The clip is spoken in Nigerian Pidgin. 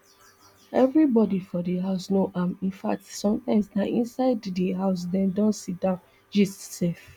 evribodi for di house know am in fact sometimes na inside di house dem dey sidon gist sef